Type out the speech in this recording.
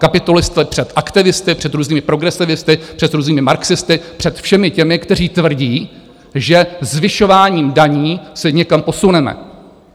Kapitulovali jste před aktivisty, před různými progresivisty, před různými marxisty, před všemi těmi, kteří tvrdí, že zvyšováním daní se někam posuneme.